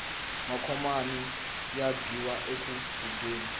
macomani ya biwa enkhubyeni